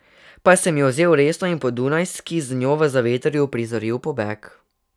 Pa sem jo vzel resno in po Dunajski z njo v zavetrju uprizoril pobeg.